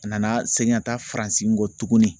A nana segin ka taa Faransi kɔ tuguni